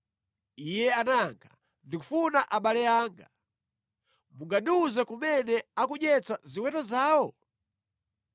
Iye anayankha, “Ndikufuna abale anga. Mungandiwuze kumene akudyetsa ziweto zawo?”